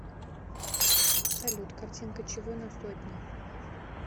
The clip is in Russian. салют картинка чего на сотне